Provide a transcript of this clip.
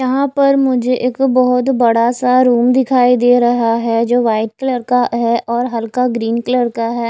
यहां पर मुझे एक बहुत बड़ा सा रूम दिखाई दे रहा है जो व्हाइट कलर का है और हल्का ग्रीन कलर का है।